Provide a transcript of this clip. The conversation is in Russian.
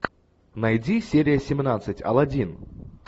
найди серия семнадцать алладин